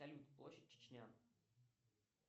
салют площадь чечня